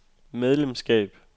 medlemskab